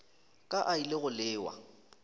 ka a ile go lewa